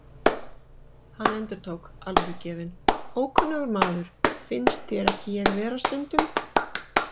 Hann endurtók, alvörugefinn: Ókunnugur maður, finnst þér ekki ég vera stundum?